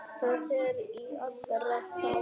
Það er í allra þágu.